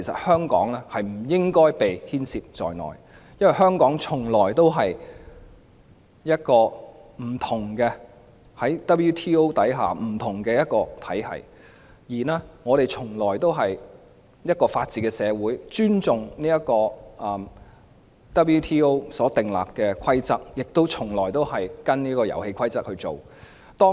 香港在世界貿易組織下從來都是一個不同的體系，我們從來都是一個法治社會，尊重世界貿易組織所訂立的規則，亦從來都跟從這些遊戲規則。